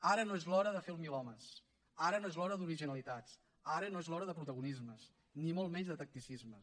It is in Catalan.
ara no és l’hora de fer el milhomes ara no és l’hora d’originalitats ara no és l’hora de protagonismes ni molt menys de tacticismes